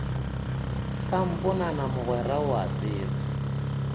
samponana mogwera o a tseba